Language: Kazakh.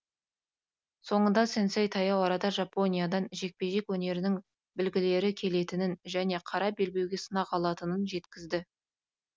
соңында сэнсэй таяу арада жапониядан жекпе жек өнерінің білгірлері келетінін және қара белбеуге сынақ алатынын жеткізді